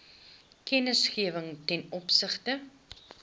kennisgewing ten opsigte